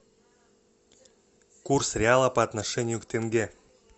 курс реала по отношению к тенге